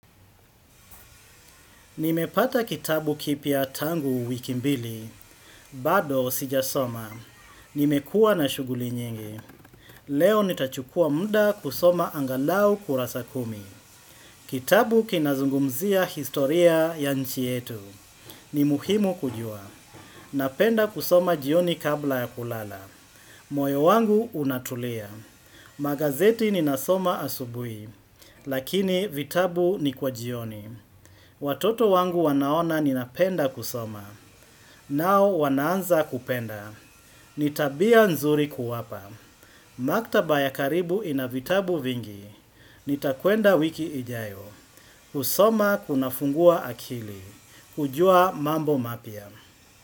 Nimepata kitabu kipya tangu wiki mbili, bado sijasoma. Nimekua na shuguli nyingi. Leo nitachukua muda kusoma angalau kurasa kumi. Kitabu kinazungumzia historia ya nchi yetu. Ni muhimu kujua. Napenda kusoma jioni kabla ya kulala. Moyo wangu unatulia. Magazeti ninasoma asubuhi, lakini vitabu ni kwa jioni. Watoto wangu wanaona ninapenda kusoma. Nao wanaanza kupenda. Ni tabia nzuri kuwapa. Maktaba ya karibu ina vitabu vingi. Nitakwenda wiki ijayo. Kusoma kunafungua akili. Kujua mambo mapya.